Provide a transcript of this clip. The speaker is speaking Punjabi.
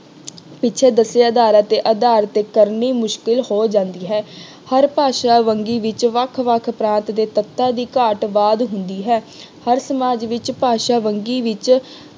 ਪਿੱਛੇ ਦੱਸੇ ਆਧਾਰਿਤ ਤੇ ਆਧਾਰ ਤੇ ਕਰਨੀ ਮੁਸ਼ਕਿਲ ਹੋ ਜਾਂਦੀ ਹੈ। ਹਰ ਭਾਸ਼ਾ ਵਂਨਗੀ ਵਿੱਚ ਵੱਖ ਵੱਖ ਭਾਂਤ ਦੇ ਤੱਤਾਂ ਦੀ ਘਾਟ ਵਾਧ ਹੁੰਦੀ ਹੈ। ਹਰ ਸਮਾਜ ਵਿੱਚ ਭਾਸ਼ਾ ਵੰਨਗੀ ਵਿੱਚ